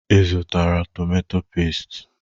Ị zụtara tomatọ pẹ́stị?